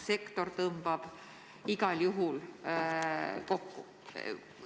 Sektor tõmbub igal juhul kokku.